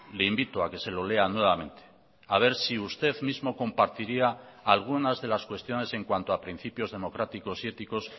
le invito a que se lo lea nuevamente a ver si usted mismo compartiría algunas de las cuestiones en cuanto a principios democráticos y éticos